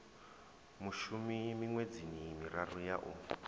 mushumi miṅwedzini miraru ya u